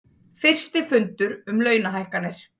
Fyrsti fundur um launahækkanir